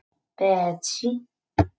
Betsý